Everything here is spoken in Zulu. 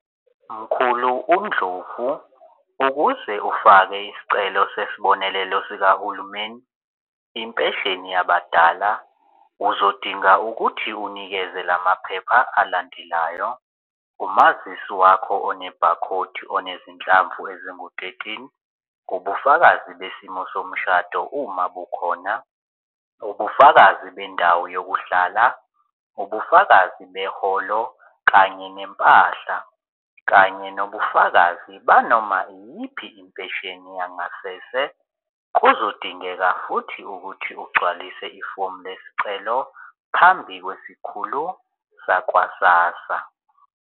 Mkhulu uNdlovu ukuze ufake isicelo sesibonelelo sikahulumeni impesheni yabadala uzodinga ukuthi unikeze lamaphepha alandelayo umazisi wakho one-barcode onezinhlamvu engu-thirteen, ubufakazi besimo somshado uma bukhona, ubufakazi bendawo yokuhlala, ubufakazi beholo kanye nempahla kanye nobufakazi banoma iyiphi impesheni yangasese. Kuzodingeka futhi ukuthi ugcwalise ifomu lesicelo phambi kwezikhulu sakwa-SASSA.